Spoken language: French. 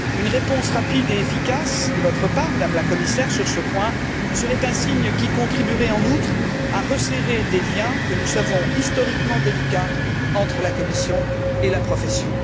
Une réponse rapide et efficace de votre part, Madame la Commissaire, sur ce point, serait un signe qui contribuerait, en outre, à resserrer des liens que nous savons historiquement délicats entre la Commission et la profession.